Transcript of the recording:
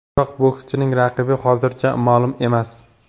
Biroq bokschining raqibi hozircha ma’lum emas.